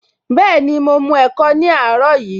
Bẹẹni, mo mu ẹ̀kọ ní àárọ̀ yìí